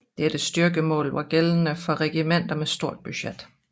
Dette styrkemål var gældende for regimenter med stort budget